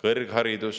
Kõrgharidus